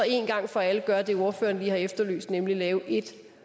en gang for alle gøre det ordføreren lige har efterlyst nemlig lave ét